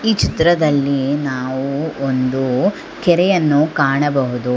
ಈ ಚಿತ್ರದಲ್ಲಿ ನಾವು ಒಂದು ಕೆರೆಯನ್ನು ಕಾಣಬಹುದು.